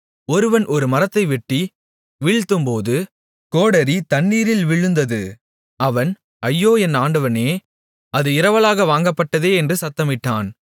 ஒருவன் ஒரு மரத்தை வெட்டி வீழ்த்தும்போது கோடரி தண்ணீரில் விழுந்தது அவன் ஐயோ என் ஆண்டவனே அது இரவலாக வாங்கப்பட்டதே என்று சத்தமிட்டான்